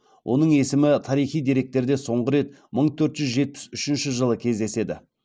оның есімі тарихи деректерде соңғы рет мың төрт жүз жетпіс үшінші жылы кездеседі